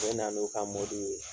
U bɛna n'u ka mɔbili ye